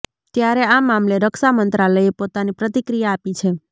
ત્યારે આ મામલે રક્ષા મંત્રાલયે પોતાની પ્રતિક્રિયા આપી છે